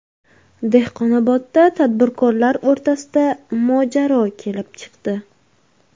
Dehqonobodda tadbirkorlar o‘rtasida mojaro kelib chiqdi.